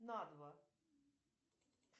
на два